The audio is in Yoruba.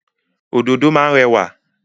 Òdòdó má ń rẹwà.